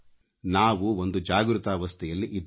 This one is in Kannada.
ನಾವು ಒಂದು ಜಾಗೃತಾವಸ್ಥೆಯಲ್ಲಿ ಇದ್ದೇವೆ